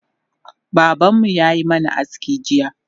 Babanmu yayi mana aski jiya